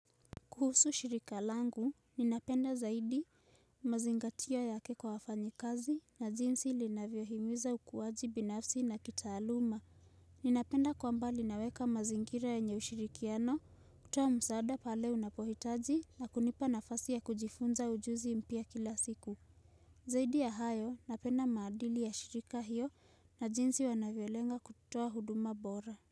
Kuhusu shirika langu, ninapenda zaidi mazingatio yake kwa wafanyikazi na jinsi linavyohimiza ukuwaji binafsi na kitaaluma. Ninapenda kwamba linaweka mazingira yenye ushirikiano, kutoa msaada pale unapohitaji na kunipa nafasi ya kujifunza ujuzi mpya kila siku. Zaidi ya hayo, napenda maadili ya shirika hiyo na jinsi wanavyolenga kutoa huduma bora.